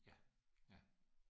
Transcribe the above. Ja ja